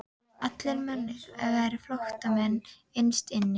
Allir menn væru flóttamenn innst inni.